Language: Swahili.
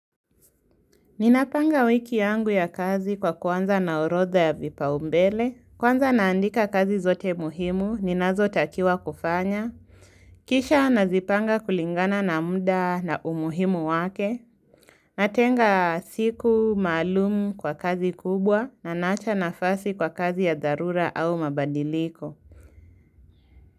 Ninapanga wiki yangu ya kazi kwa kwanza na orodha ya vipaumbele, kwanza naandika kazi zote muhimu, ninazo takiwa kufanya, kisha nazipanga kulingana na mda na umuhimu wake, natenga siku maalumu kwa kazi kubwa, naninaacha nafasi kwa kazi ya dharura au mabadiliko.